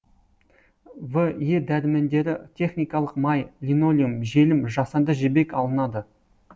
в е дәрімендері техникалық май линолеум желім жасанды жібек алынады